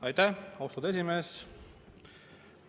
Aitäh, austatud esimees!